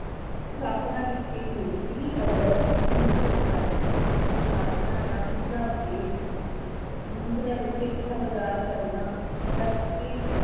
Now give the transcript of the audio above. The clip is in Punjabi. ਸਥਾਪਨਾ ਕੀਤੀ ਗਈ ਸੀ ਅਗਸਤ ਉੱਨੀ ਸੌ ਅਠਾਸੀ ਸਥਾਪਨਾ ਦਾ ਮੁਢਲਾ ਉਦੇਸ਼ ਵਿੱਚ ਸਿੱਖਿਆ ਪ੍ਰਦਾਨ ਕਰਨਾ ਕਰਕੇ